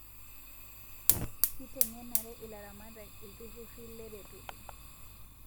Kitengenare ilaramatak iltururi leretoto